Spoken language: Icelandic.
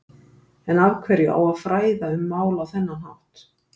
En af hverju á að fræða um mál á þennan hátt?